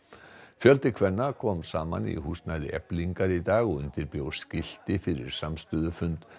fjöldi kvenna kom saman í húsnæði Eflingar í dag og undirbjó skilti fyrir samstöðufund